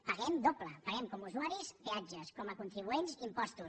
paguem doble paguem com a usuaris peatges com a contribuents impostos